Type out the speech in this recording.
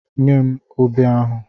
Nye m obe ahụ!